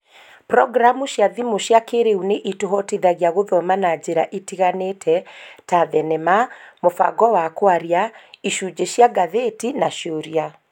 Programu cia thimu cia kĩĩrĩu nĩ itũhotithagia gũthoma na njĩra itiganĩte, ta thenema, mũbango wa kwaria, icunjĩ cia ngathĩti na ciũria